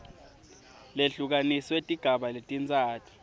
lehlukaniswe tigaba letintsatfu